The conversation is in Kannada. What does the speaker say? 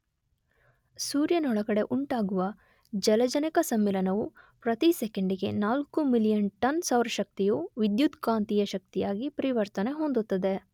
ಸೂರ್ಯನೊಳಗಡೆ ಉಂಟಾಗುವ ಜಲಜನಕ ಸಮ್ಮಿಳನವು ಪ್ರತಿ ಸೆಕೆಂಡಿಗೆ ನಾಲ್ಕು ಮಿಲಿಯನ್ ಟನ್ ಸೌರ ಶಕ್ತಿಯು ವಿದ್ಯುತ್ಕಾಂತೀಯ ಶಕ್ತಿಯಾಗಿ ಪರಿವರ್ತನೆ ಹೊಂದುತ್ತದೆ